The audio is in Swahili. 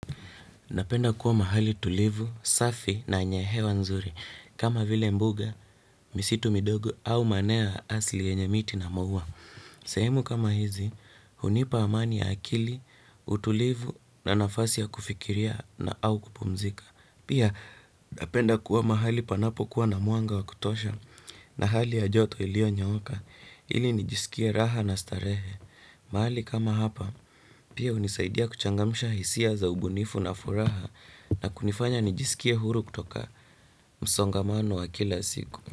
Napenda kuwa mahali tulivu, safi na yenye hewa nzuri kama vile mbuga, misitu midogo au maeneo ya asili yenye miti na maua. Sehemu kama hizi, hunipa amani ya akili, utulivu na nafasi ya kufikiria na au kupumzika. Pia napenda kuwa mahali panapokuwa na mwanga wa kutosha. Na hali ya joto iliyonyooka ili nijisikie raha na starehe. Mahali kama hapa, pia hunisaidia kuchangamsha hisia za ubunifu na furaha na kunifanya nijisikie huru kutoka msongamano wa kila siku.